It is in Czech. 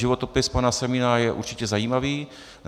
Životopis pana Semína je určitě zajímavý.